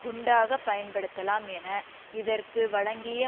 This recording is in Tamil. குண்டாக பயன்படுத்தப்படலாம் என இதற்கு வழங்கிய